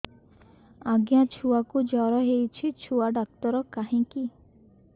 ଆଜ୍ଞା ଛୁଆକୁ ଜର ହେଇଚି ଛୁଆ ଡାକ୍ତର କାହିଁ କି